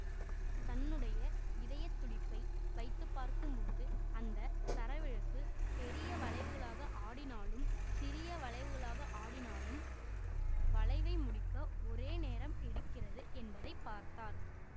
தன்னுடைய இதயத்துடிப்பை வைத்துப்பார்க்கும்போது அந்த சரவிளக்கு பெரிய வளைவுகளாக ஆடினாலும் சிறிய வளைவுகளாக ஆடினாலும் வளைவை முடிக்க ஒரே நேரம் எடுக்கிறது என்பதை பார்த்தார்